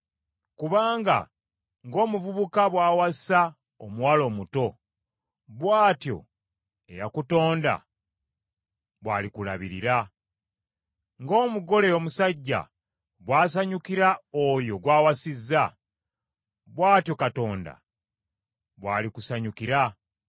Kubanga ng’omuvubuka bwawasa omuwala omuto bw’atyo eyakutonda bwalikulabirira. Nga omugole omusajja bwasanyukira oyo gw’awasizza, bw’atyo Katonda bwalikusanyukira.